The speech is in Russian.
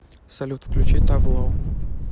салют включи тав ло